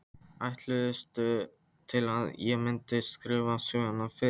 Ætlaðistu til að ég myndi skrifa söguna fyrir þig?